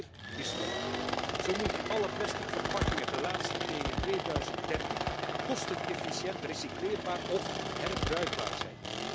Maar meer is nodig zo moeten alle plastic verpakkingen ten laatste in 2030 kostenefficiënt recycleerbaar of herbruikbaar zijn.